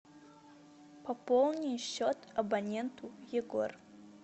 пополни счет абоненту егор